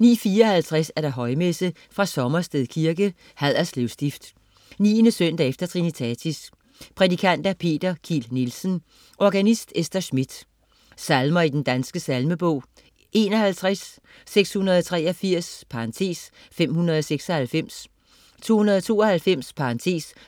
09.54 Højmesse. Sommersted Kirke. Haderslev Stift. 9. søndag efter trinitatis. Prædikant: Peter Kiel Nielsen. Organist: Esther Schmidt. Salmer i Den Danske Salmebog: 51, 683 (596), 292